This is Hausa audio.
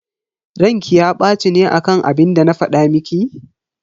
Ranki ya baci ne akan abinda na fada miki?